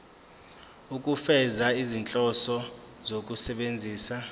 ukufeza izinhloso zokusebenzisa